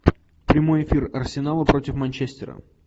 прямой эфир арсенала против манчестера